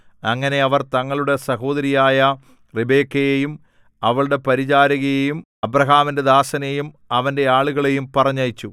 അങ്ങനെ അവർ തങ്ങളുടെ സഹോദരിയായ റിബെക്കയെയും അവളുടെ പരിചാരികയെയും അബ്രാഹാമിന്റെ ദാസനെയും അവന്റെ ആളുകളെയും പറഞ്ഞയച്ചു